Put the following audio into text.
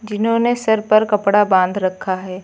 इन्होंने सर पर कपड़ा बांध रखा है।